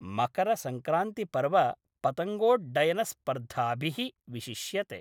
मकरसंक्रान्तिपर्व पतङ्गोड्डयनस्पर्धाभिः विशिष्यते।